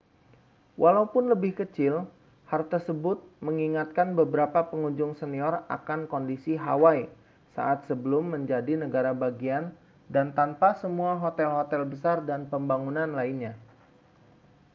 walaupun lebih kecil hal tersebut mengingatkan beberapa pengunjung senior akan kondisi hawaii saat belum menjadi negara bagian dan tanpa semua hotel-hotel besar dan pembangunan lainnya